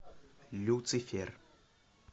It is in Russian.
люцифер